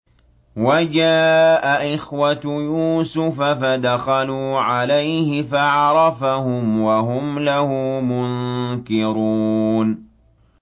وَجَاءَ إِخْوَةُ يُوسُفَ فَدَخَلُوا عَلَيْهِ فَعَرَفَهُمْ وَهُمْ لَهُ مُنكِرُونَ